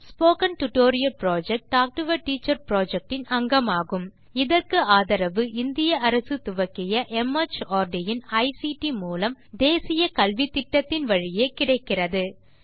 spoken tutorial project talk to a teacher project இன் அங்கமாகும் இதற்கு ஆதரவு இந்திய அரசு துவக்கிய மார்ட் இன் ஐசிடி மூலம் தேசிய கல்வித்திட்டத்தின் வழியே கிடைக்கிறது